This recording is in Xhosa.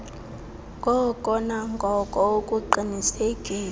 ngoko nangoko ukuqinisekisa